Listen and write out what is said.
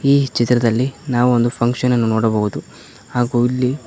ಈ ಚಿತ್ರದಲ್ಲಿ ನಾವು ಒಂದು ಫಂಕ್ಷನ್ ನೋಡಬಹುದು ಹಾಗೂ ಇಲ್ಲಿ.